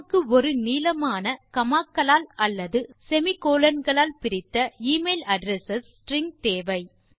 நமக்கு ஒரு நீளமான காமா க்களால் அல்லது semi கோலோன் களால் பிரித்த e மெயில் அட்ரெஸ் ஸ்ட்ரிங் தேவை